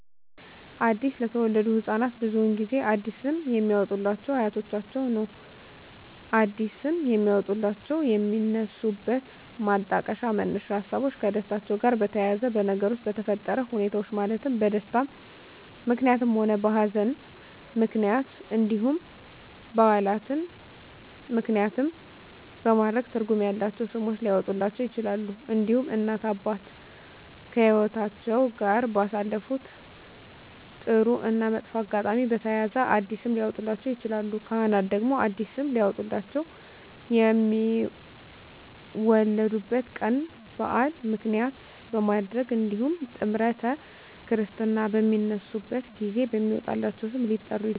አዲስ ለተወለዱ ህፃናት ብዙውን ጊዜ አዲስ ስም የሚያወጡሏቸው አያቶቻቸውን ነው አዲስ ስም የሚያወጧላቸው የሚነሱበት ማጣቀሻ መነሻ ሀሳቦች ከደስታቸው ጋር በተያያዘ በነገሮች በተፈጠረ ሁኔታዎች ማለትም በደስታም ምክንያትም ሆነ በሀዘንም ምክንያት እንዲሁም በዓላትን ምክንያትም በማድረግ ትርጉም ያላቸው ስሞች ሊያወጡላቸው ይችላሉ። እንዲሁም እናት እና አባት ከህይወትአቸው ጋር ባሳለፉት ጥሩ እና መጥፎ አጋጣሚ በተያያዘ አዲስ ስም ሊያወጡላቸው ይችላሉ። ካህናት ደግሞ አዲስ ስም ሊያወጡላቸው የሚወለዱበት ቀን በዓል ምክንያት በማድረግ እንዲሁም ጥምረተ ክርስትና በሚነሱበት ጊዜ በሚወጣላቸው ስም ሊጠሩ ይችላሉ።